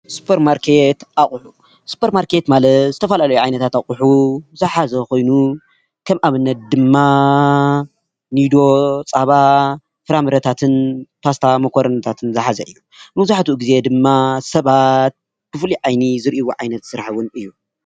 ሱፐርማርኬት አቁሑ፦ ሱፐርማርኬት ማለት ዝተፈላለዩ ዓይነት አቁሑ ዝሓዘ ኮይኑ ከም ኣብነት ድማ ኒዶ፣ ፃባ ፣ፍረምረታትን ፓስታ ፣ሞኮረኒታትን ዝሓዘ እዩ፡፡ መብዛሕቲ ግዜ ድማ ስባት ብፍሉይ ዓይኒ ዝሪኢዎ ዓይነት ስራሕ እዩ፡፡